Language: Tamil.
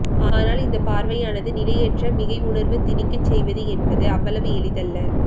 ஆனால் இந்த பார்வையானது நிலையற்ற மிகை உணர்வு திணிக்க செய்வது என்பது அவ்வளவு எளிதல்ல